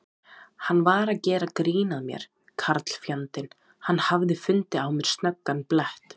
Hann var að gera grín að mér karlfjandinn, hann hafði fundið á mér snöggan blett.